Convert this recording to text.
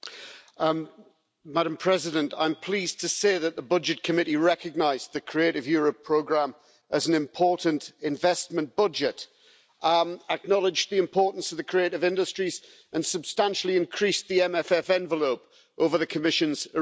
Madam President, I'm pleased to say that the Committee on Budgets recognised the Creative Europe programme as an important investment budget, acknowledged the importance of the creative industries, and substantially increased the MMF envelope over the Commission's original proposal.